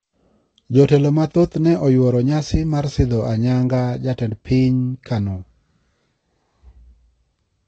Jotelo ma thoth ne oyuoro nyasi mar sidho ayanga ja-tend piny kano.